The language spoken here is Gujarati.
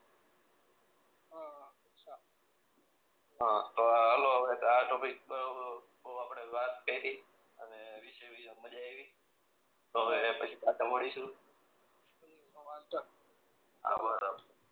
હ આવે હાલો અને વિશે મજા આયવી હવે મળીશું આ